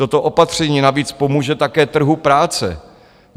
Toto opatření navíc pomůže také trhu práce.